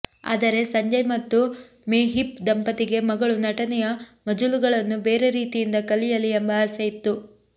ಆದರೆ ಸಂಜಯ್ ಮತ್ತು ಮೆಹೀಪ್ ದಂಪತಿಗೆ ಮಗಳು ನಟನೆಯ ಮಜಲುಗಳನ್ನು ಬೇರೆ ರೀತಿಯಿಂದ ಕಲಿಯಲಿ ಎಂಬ ಆಸೆಯಿತ್ತು